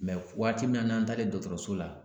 waati min na n'an taalen dɔgɔtɔrɔso la